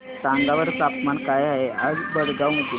सांगा बरं तापमान काय आहे आज भडगांव मध्ये